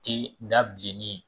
Tɛ da bilenni ye